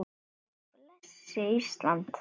Guð blessi Ísland.